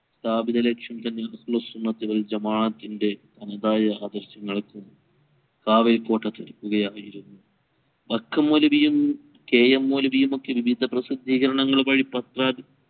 സ്ഥാപിത ലക്ഷ്യം ഹുസ്നത് വല ജമാഅതതിൻറെ സമുദായ ആവിശ്യങ്ങൾക്കും വൈക്കം മൗലവിയും K. M മൗലവിയും ഒക്കെ വിവിധ പ്രാസദീകരങ്ങൾ വഴി പത്ര